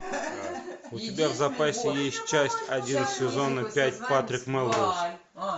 у тебя в запасе есть часть один сезона пять патрик мелроуз